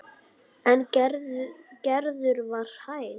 En Gerður var hæg.